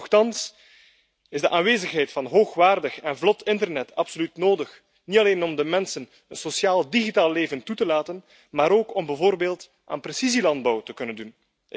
Toch is de aanwezigheid van hoogwaardig en vlot internet absoluut nodig, niet alleen om de mensen een sociaal digitaal leven toe te staan, maar ook om bijvoorbeeld aan precisielandbouw te kunnen doen.